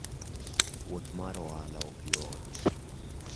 Wuoth mar ohala ok yot.